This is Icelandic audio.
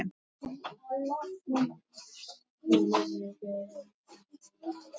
Skrifaðu þegar þú hefur tækifæri til og láttu okkur vita hvernig gengur.